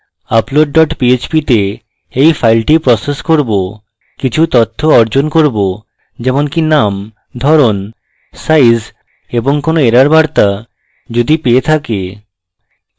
upload dot php then এই file process করব কিছু তথ্য অর্জন করব যেমনকি name ধরণ সাইজ অস্থায়ী সঞ্চিত name এবং কোনো error বার্তা যদি পেয়ে থাকে